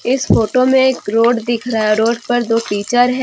इस फोटो में एक रोड दिख रहा है रोड पर दो टीचर है।